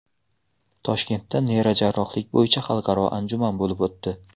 Toshkentda neyrojarrohlik bo‘yicha xalqaro anjuman bo‘lib o‘tdi.